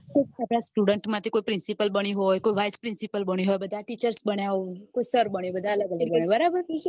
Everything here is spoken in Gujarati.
કોઈ આપડા student માટે principal બન્યું હોય કોઈ vice principal બન્યું હોય બધા teacher બન્યા હોય કોઈ sir બન્યું હોય બધા અલગ અલગ બન્યા હોય બરાબર